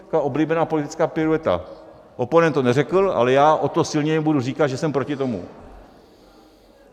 Taková oblíbená politická pirueta - oponent to neřekl, ale já o to silněji budu říkat, že jsem proti tomu.